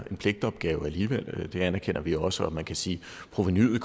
pligtopgave alligevel det anerkender vi også og man kan sige at provenuet